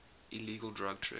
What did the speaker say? illegal drug trade